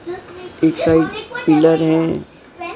पीछे पिलर है।